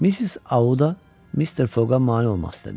Missis Auda Mister Foqa mane olmaq istədi.